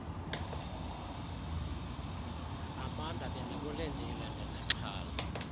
amanda bendikulindile ndinexhala